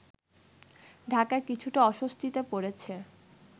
ঢাকা কিছুটা অস্বস্তিতে পড়েছে